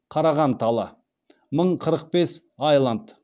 қараған талы мың қырық бес айлант